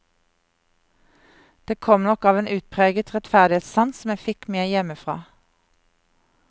Det kom nok av en utpreget rettferdighetssans som jeg fikk med hjemmefra.